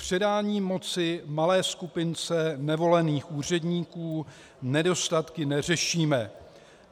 Předáním moci malé skupince nevolených úředníků nedostatky neřešíme.